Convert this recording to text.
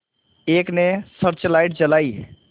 एक ने searchlight जलाई